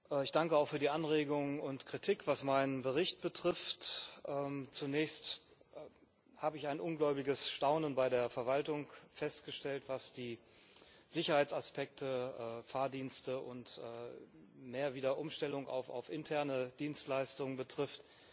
Frau Präsidentin! Ich danke für die Anregung und Kritik, was meinen Bericht betrifft. Zunächst habe ich ein ungläubiges Staunen bei der Verwaltung festgestellt, was die Sicherheitsaspekte, Fahrdienste und mehr Wiederumstellung auch auf interne Dienstleistungen betrifft.